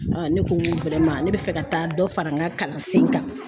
ne ko n ko ne bɛ fɛ ka taa dɔ fara n ka kalansen kan